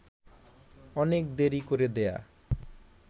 অনেক দেরী করে দেয়া